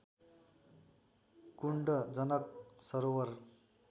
कुण्ड जनक सरोवर